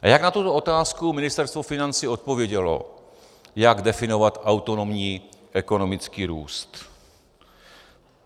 A jak na tuto otázku Ministerstvo financí odpovědělo, jak definovat autonomní ekonomický růst.